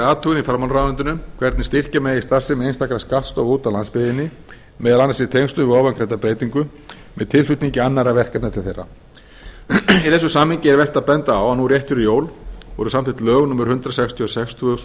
athugun í fjármálaráðuneytinu hvernig styrkja megi starfsemi einstakra skattstofa úti á landsbyggðinni meðal annars í tengslum við ofangreinda breytingu með tilflutningi annarra verkefna til þeirra í þessu samhengi er vert að benda á að núna rétt fyrir jól voru samþykkt lög númer hundrað sextíu og sex tvö þúsund og sjö